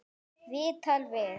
Viðtal við